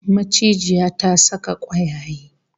Macijiya ta saka kwayaye